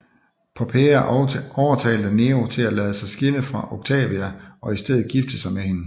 Poppæa overtalte Nero til at lade sig skille fra Octavia og i stedet gifte sig med hende